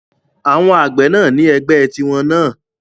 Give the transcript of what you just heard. Àwọn àgbẹ̀ náà ni ẹgbẹ́ tí wọ́n náà